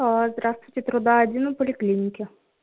здравствуйте труда один и поликлинике